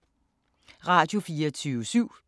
Radio24syv